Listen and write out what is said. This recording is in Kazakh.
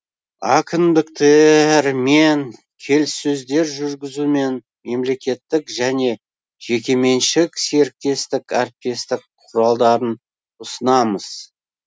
әкімдіктеееермен келіссөздер жүргізу мен мемлекеттік және жекеменшік серіктестік әріптестік құралдарын ұсынамыз